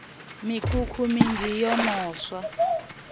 mikhukhu minzhi yo no swa